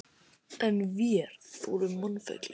En vér þolum mannfelli.